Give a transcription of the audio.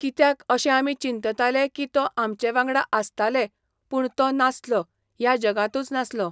कित्याक अशें आमी चिंतताले की तो आमचे वांगडा आसताले पूण तो नासलो, ह्या जगांतूच नासलो.